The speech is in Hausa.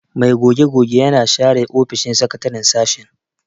Mai goge-gogen yana share ofishin sakataren sashen.